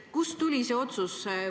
Kust tuli see otsus?